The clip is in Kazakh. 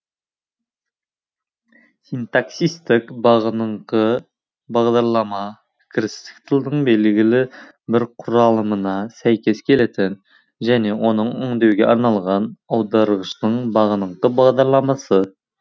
синтаксистік бағыныңқы бағдарлама кірістік тілдің белгілі бір құралымына сәйкес келетін және оны өңдеуге арналған аударғыштың бағыныңқы бағдарламасы